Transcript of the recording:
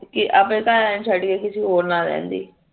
ਆਪਣੇ ਘਰਵਾਲੇ ਨੂ ਛੱਡ ਕੇ ਕਿਸੇ ਹੋਰ ਨਾਲ ਰਹਿੰਦੀ